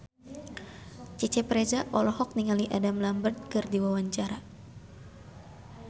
Cecep Reza olohok ningali Adam Lambert keur diwawancara